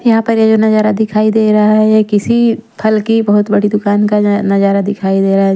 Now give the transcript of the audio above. यहाँ पर ये जो नजारा दिखाई दे रहा है ये किसी फल की बहुत बड़ी दुकान का नजारा दिखाई दे रहा है।